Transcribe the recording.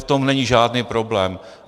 V tom není žádný problém.